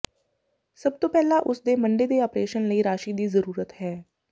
ਸਭਤੋਂ ਪਹਿਲਾਂ ਉਸਦੇ ਮੰਡੇ ਦੇ ਆਪਰੇਸ਼ਨ ਲਈ ਰਾਸ਼ੀ ਦੀ ਜ਼ਰੂਰਤ ਹੈ